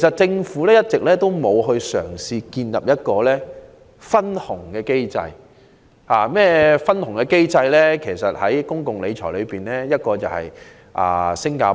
政府一直沒有嘗試建立一個分紅機制，而在公共理財併入這種機制的一個例子是新加坡。